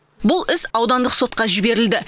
бұл іс аудандық сотқа жіберілді